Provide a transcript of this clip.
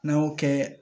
N'an y'o kɛ